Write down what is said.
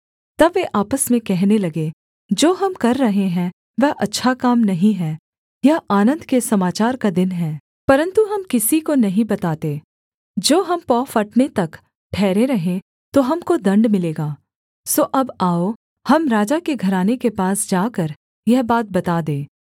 तब वे आपस में कहने लगे जो हम कर रहे हैं वह अच्छा काम नहीं है यह आनन्द के समाचार का दिन है परन्तु हम किसी को नहीं बताते जो हम पौ फटने तक ठहरे रहें तो हमको दण्ड मिलेगा सो अब आओ हम राजा के घराने के पास जाकर यह बात बता दें